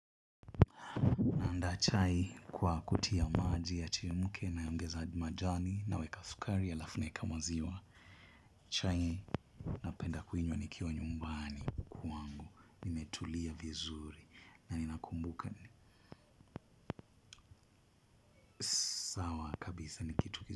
Ndachai kwa kutia maji ya chemuke naongeza majani na weka sukari alafu naeka maziwa. Chai napenda kuinywa nikiwa nyumbani kwangu. Nimetulia vizuri na ninakumbuka ni sawa kabisa nikitu kizuri.